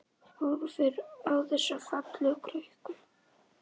Horfir á þessa fallegu krukku.